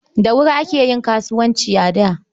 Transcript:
Da wuri ake yin kasuwanci a da.